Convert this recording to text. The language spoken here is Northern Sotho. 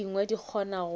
tše dingwe di kgona go